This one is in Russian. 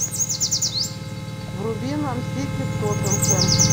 вруби нам сити тоттенхэм